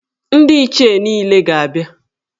Ndị Ichie niile ga-abịa.